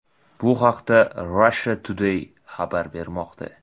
Bu haqda Russia Today xabar bermoqda .